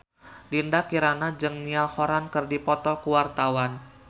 Dinda Kirana jeung Niall Horran keur dipoto ku wartawan